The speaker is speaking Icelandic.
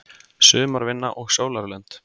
Sumarvinna og sólarlönd